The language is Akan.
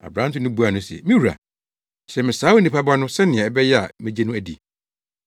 Aberante no buaa no se, “Me wura, kyerɛ me saa Onipa Ba no sɛnea ɛbɛyɛ a megye no adi!”